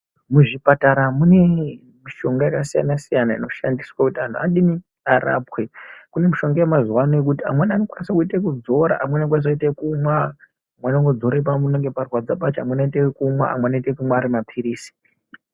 Muzvipatara mune mishonga yakasiyana-siyana, inoshandiswe kuti anhu adini arapwe. Kune mishonga yemazuwaano yekuti amweni anokwanise kuite ekudzora, amweni anokwanise kuite ekumwa, amwe anodzore panenge parwadza pacho, amweni anoite ekumwa , amwe anoite ekumwa ari maphirizi.